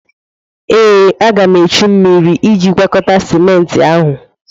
Ee, a ga m achọ mmiri iji gwakọta ciment ahụ.